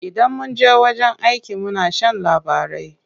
Idan munje wajen aiki muna shan labarai.